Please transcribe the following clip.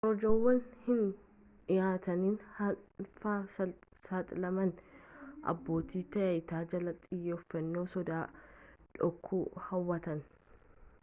korojoowwan hin dhihaatin hannaaf saaxilamanii abbootii taayitaa jalaa xiyyeeffannoo soda dhookuu hawwatan